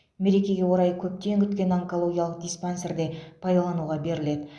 мерекеге орай көптен күткен онкологиялық диспансер де пайдалануға беріледі